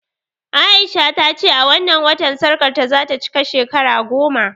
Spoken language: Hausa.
A'isha ta ce a wannan watan sarƙarta za ta cika shekara goma